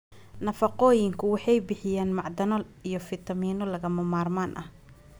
Nafaqooyinku Waxay bixiyaan macdano iyo fiitamiinno lagama maarmaan ah.